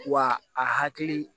Wa a hakili